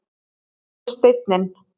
Hérna er steinninn.